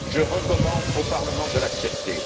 Je recommande au Parlement de l'accepter.